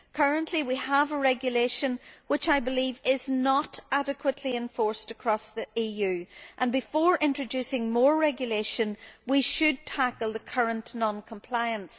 Currently we have a regulation which, I believe, is not adequately enforced across the EU, and before introducing more regulation we should tackle the current non compliance.